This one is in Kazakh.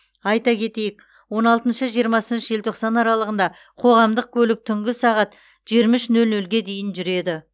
айта кетейік он алтыншы жиырмасыншы желтоқсан аралығында қоғамдық көлік түнгі сағат жиырма үш нөл нөлге дейін жүреді